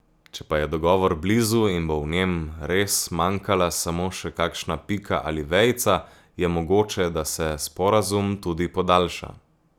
Če pa je dogovor blizu in bo v njem res manjkala samo še kakšna pika ali vejica, je mogoče, da se sporazum tudi podaljša.